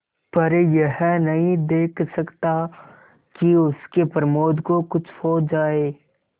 पर यह नहीं देख सकता कि उसके प्रमोद को कुछ हो जाए